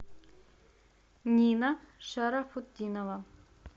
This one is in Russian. нина шарафутдинова